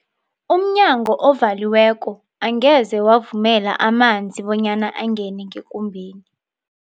Umnyango ovaliweko angeze wavumela amanzi bonyana angene ngekumbeni.